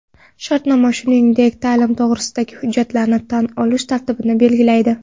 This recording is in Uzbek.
Shartnoma shuningdek, ta’lim to‘g‘risidagi hujjatlarni tan olish tartibini belgilaydi.